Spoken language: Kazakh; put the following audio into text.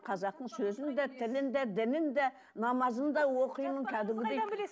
қазақтың сөзін де тілін де дінін де намазын да оқимын кәдімгідей